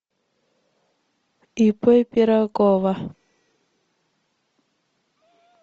ип пирогова